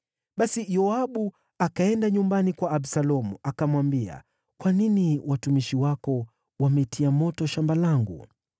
Basi Yoabu akaenda nyumbani kwa Absalomu, akamwambia, “Kwa nini watumishi wako wametia moto shamba langu?”